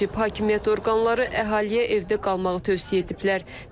Hakimiyyət orqanları əhaliyə evdə qalmağı tövsiyə ediblər.